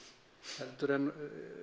heldur en